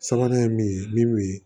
Sabanan ye min ye min bɛ